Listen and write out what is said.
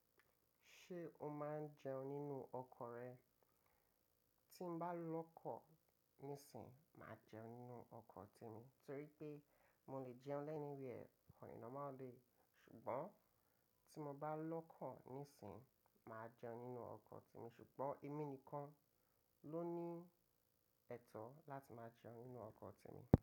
Ṣé o máa ń jẹun nínú ọkọ̀ rẹ? Tí mo bá lọ́kọ̀ níìsín, màá jẹun nínú ọkọ̀ ti mo, torí pé mo lè jẹun lẹ́anywhere on a normal day Ṣùgbọ́n tí mo bá lọ́kọ̀ níìsín, màá jẹun nínú ọkọ̀ te mi, ṣùgbọ́n èmi nìkan ló ní ẹ̀tọ́ láti máa jẹun nínú ọkọ̀ te mi.